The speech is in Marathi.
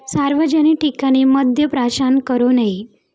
सार्वजनिक ठिकाणी मद्द प्राशन करू नये.